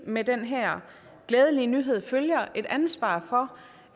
med den her glædelige nyhed følger et ansvar for